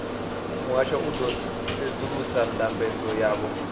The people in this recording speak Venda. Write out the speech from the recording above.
muhasho u ḓo sedzulusa ndambedzo yavho